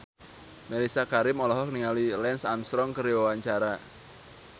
Mellisa Karim olohok ningali Lance Armstrong keur diwawancara